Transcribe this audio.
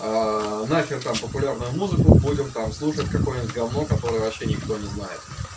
нафиг там популярную музыку будем там слушать какое-нибудь говно которое вообще никто не знает